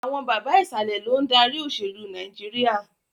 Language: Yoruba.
Àwọn bàbà Ìsàlẹ̀ lòun dárí òṣèlú Nàìjíríà